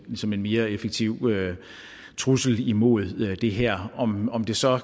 som en mere effektiv trussel imod det her om om det så